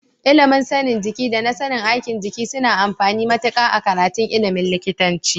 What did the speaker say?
Ilimin sanin jiki da na sanin aikin jiki suna da amfani matuƙa a karatun ilimin likitanci.